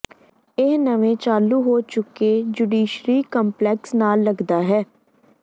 ਇਹ ਨਵੇਂ ਚਾਲੂ ਹੋ ਚੁੱਕੇ ਜੁਡੀਸ਼ਰੀ ਕੰਪਲੈਕਸ ਨਾਲ ਲੱਗਦਾ ਹੈ